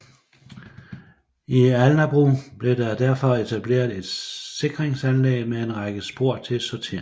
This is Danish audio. I Alnabru blev der derfor etableret et sikringsanlæg med en række spor til sorteringen